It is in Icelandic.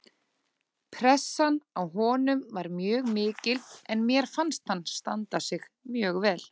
Pressan á honum var mjög mikil en mér fannst hann standa sig mjög vel